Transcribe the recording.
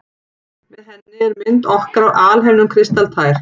Með henni er mynd okkar af alheiminum kristaltær.